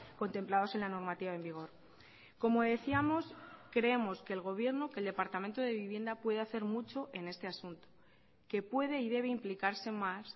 contemplados en la normativa en vigor como decíamos creemos que el gobierno que el departamento de vivienda puede hacer mucho en este asunto que puede y debe implicarse más